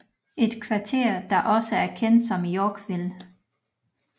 Et kvarter der også er kendt som Yorkville